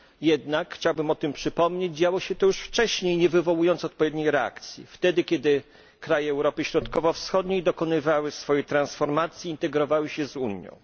Jednak, chciałbym przypomnieć, że działo się to już wcześniej, nie wywołując odpowiedniej reakcji, kiedy kraje Europy Środkowo Wschodniej dokonywały swojej transformacji, integrowały się z Unią.